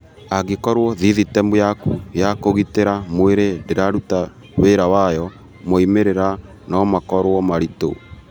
Angĩkorũo thĩthĩtemu yaku ya kũgĩtĩra mwĩrĩ ndĩraruta wĩra wayo, moimĩrĩra no makorũo maritũ.